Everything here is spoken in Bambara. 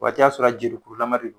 O waati y'a sɔrɔ jelikurulama de don